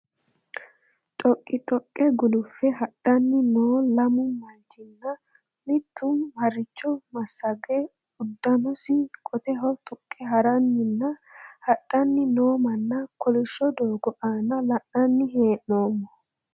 Dhoqqi dhoqqe guluffe hadhanni no lamu manchina mittu harricho massage uddanosi qoteho tuqqe haranninna hadhanni noo manna kolishsho doogo aana la'nanni hee'noommo.